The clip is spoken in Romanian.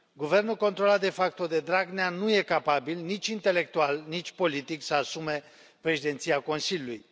Guvernul controlat de facto de Dragnea nu e capabil, nici intelectual, nici politic, să asume președinția Consiliului.